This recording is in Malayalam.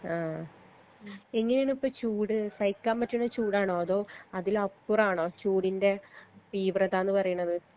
ആ പിന്നെണ് ഇപ്പൊ ചൂട് സഹിക്കാൻ പറ്റ്ണ ചൂടാണോ അതോ അതിലപ്പുറാണോ ചൂടിന്റെ തീവ്രതാന്ന് പറീണത്